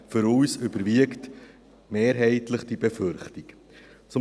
Für uns überwiegt diese Befürchtung mehrheitlich.